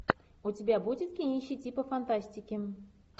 у тебя будет кинище типа фантастики